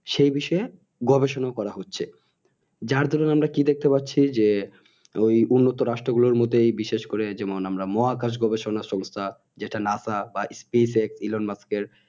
সে বিষয়ে গবেষণা করা হচ্ছে যার দারুন আমরা কি দেখতে পাচ্ছি যে ওই উন্নত রাষ্ট্র গুলোর মতই বিশেষ করে যেমন আমরা মহাআকশ গবেষণা সংস্থা যেটা NASA বা SpaceX Elon Musk এর